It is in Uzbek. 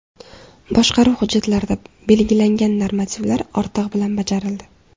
Boshqaruv hujjatlarida belgilangan normativlar ortig‘i bilan bajarildi.